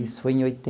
Isso foi em